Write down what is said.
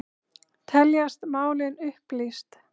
Teljast málin upplýst